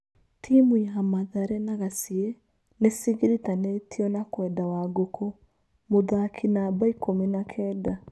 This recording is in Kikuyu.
Timu ya Mathare na Gaciĩ nĩcigiritanĩtio na kwenda Wangũkũ, mũthaki number ikũmi na Kenda.